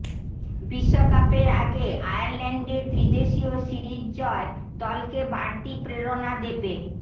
বিশ্বকাপের আগে আয়ারল্যান্ডে ত্রিদেশীয় সিরিজ জয় দলকে বাড়তি প্রেরণা দেবে